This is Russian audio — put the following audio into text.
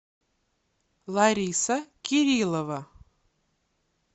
лариса кириллова